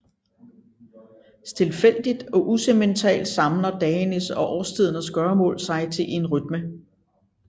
Stilfærdigt og usentimentalt samler dagenes og årstidernes gøremål sig til en rytme